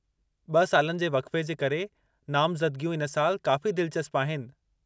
ब॒ सालनि जे वक़्फ़े जे करे नामज़दिगियूं इन साल काफ़ी दिलिचस्प आहिनि।